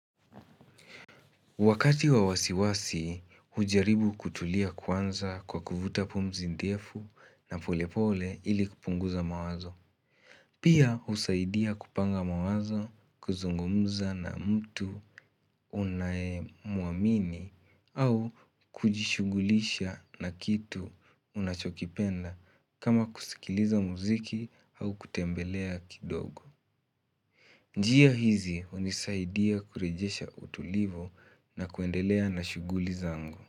Wakati wa wasiwasi, hujaribu kutulia kwanza kwa kuvuta pumzi ndefu na polepole ili kupunguza mawazo. Pia husaidia kupanga mawazo kuzungumza na mtu unaemwamini au kujishugulisha na kitu unachokipenda kama kusikiliza muziki au kutembelea kidogo. Njia hizi hunisaidia kurejesha utulivu na kuendelea na shuguli zangu.